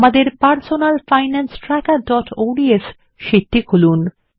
আমাদের personal finance trackerঅডস sheet টি খুলুন